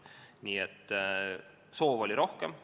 Nii et soov oli teha rohkem.